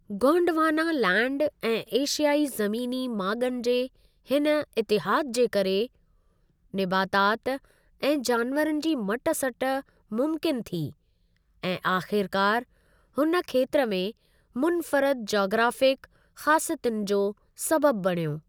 Gondwana land ऐं एशियाई ज़मीनी माॻुनि जे हिन इतिहादु जे करे, निबातात ऐं जानवरनि जी मट सट मुमकिनु थी ऐं आख़िरकार हुन खेत्र में मुनफ़रद जाग्राफिक ख़ासियतुनि जो सबबु बणियो।